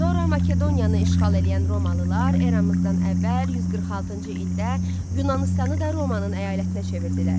Sonra Makedoniyanı işğal eləyən Romalılar eramızdan əvvəl 146-cı ildə Yunanıstanı da Romanın əyalətinə çevirdilər.